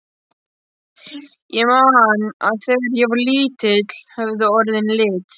Ég man að þegar ég var lítill höfðu orðin lit.